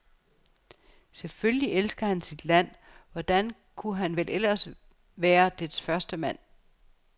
Selvfølgelig elsker han sit land, hvordan kunne han vel ellers være dets førstemand?